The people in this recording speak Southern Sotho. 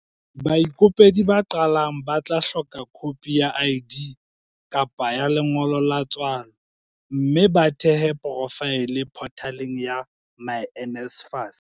Baikopedi ba qalang ba tla hloka khopi ya ID kapa ya lengolo la tswalo mme ba thehe porofaele photaleng ya myNSFAS.